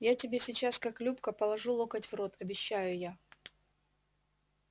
я тебе сейчас как любка положу локоть в рот обещаю я